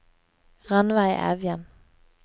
Ranveig Evjen